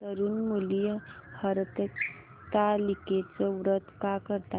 तरुण मुली हरतालिकेचं व्रत का करतात